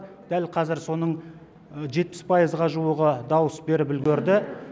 дәл қазір соның жетпіс пайызға жуығы дауыс беріп үлгерді